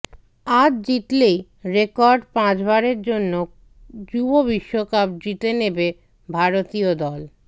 আজ জিতলেই রেকর্ড পাঁচবারের জন্য যুব বিশ্বকাপ জিতে নেবে ভারতীয় দল